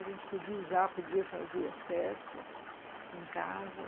A gente podia usar, podia fazer as festas em casa.